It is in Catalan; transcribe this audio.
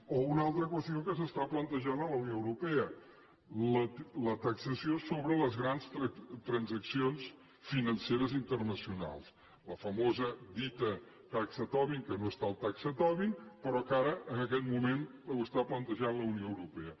o una altra qüestió que s’està plantejant a la unió europea la taxació sobre les grans transaccions financeres internacionals la famosa dita taxa tobin que no és tal taxa tobin però que ara en aquests moments ho està plantejant la unió europea